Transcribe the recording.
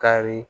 Kari